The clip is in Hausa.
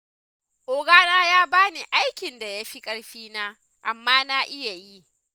Ogana ya ba ni aikin da ya fi ƙarfina, amma na iya yi.